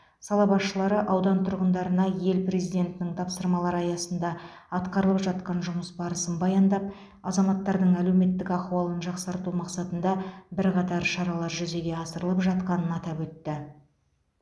сала басшылары аудан тұрғындарына ел президентінің тапсырмалары аясында атқарылып жатқан жұмыс барысын баяндап азаматтардың әлеуметтік ахуалын жақсарту мақсатында бірқатар шаралар жүзеге асырылып жатқанын атап өтті